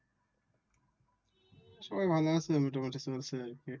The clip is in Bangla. সবাই ভালো আছে। মোটামুটি চলছে আর কি।